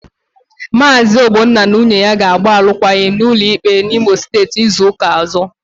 Maazi Ogbonna na nwunye ya ga-agba alụkwaghịm n'ụlọ ikpe Imo Steeti izu ụka ọzọ.